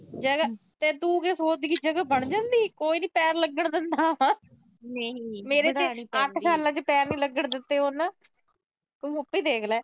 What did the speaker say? ਤੇ ਤੂੰ ਕੀ ਸੋਚਦੀ ਜਗਾ ਬਣ ਜਾਂਦੀ, ਕੋਈ ਨੀ ਪੈਰ ਲੱਗਣ ਦਿੰਦਾ। ਮੇਰੇ ਤਾਂ ਅੱਜ ਤੱਕ ਪੈਰ ਨੀ ਲੱਗਣ ਦਿੱਤੇ। ਤੂੰ ਉਥੋਂ ਈ ਦੇਖ ਲਾ।